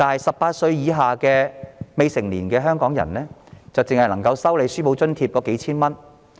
十八歲以下的未成年香港人只能收取數千元書簿津貼。